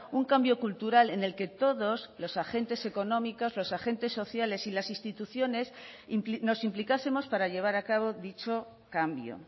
un cambio cultural en el que todos los agentes económicos los agentes sociales y las instituciones nos implicásemos para llevar a cabo dicho cambio